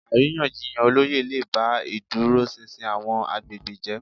Àríyànjiyàn olóyè lè ba ìdúróṣinṣin àwọn agbègbè jẹ́